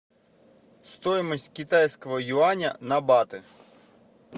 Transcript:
стоимость китайского юаня на баты